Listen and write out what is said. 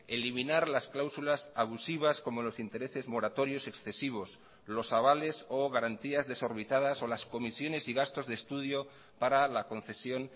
eliminar las cláusulas abusivas como los intereses moratorios excesivos los avales o garantías desorbitadas o las comisiones y gastos de estudio para la concesión